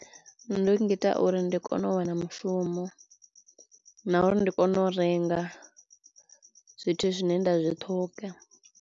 Ngita uri ndi kono u wana mushumo na uri ndi kono u renga zwithu zwine nda zwi ṱhoga.